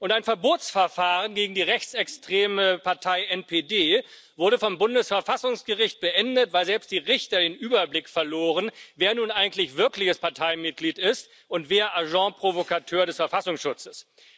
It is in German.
Und ein Verbotsverfahren gegen die rechtsextreme Partei NPD wurde vom Bundesverfassungsgericht beendet, weil selbst die Richter den Überblick verloren, wer nun eigentlich wirkliches Parteimitglied ist und wer Agent Provocateur des Verfassungsschutzes.